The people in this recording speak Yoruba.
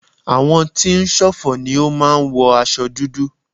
Àwọn tí ń ṣọ̀fọ̀ ni ó máa ń wọ aṣo dúdú.